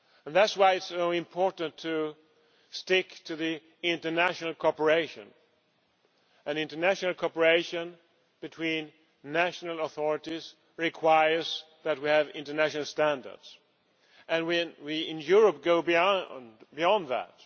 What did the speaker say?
That is why it is so important to stick to international cooperation, and international cooperation between national authorities requires that we have international standards, and we in Europe go beyond that.